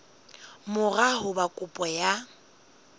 mora ho ba kopo ya